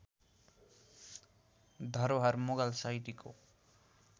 धरोहर मुगल शैलीको